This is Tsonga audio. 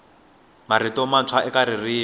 marito mantshwa eka ririmi